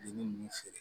Dennin ninnu feere